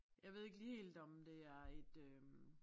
Jeg ved ikke lige helt om det er et øh